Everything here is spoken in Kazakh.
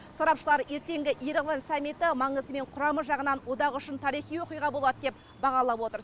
сарапшылар ертеңгі ереван саммиті маңызы мен құрамы жағынан одақ үшін тарихи оқиға болады деп бағалап отыр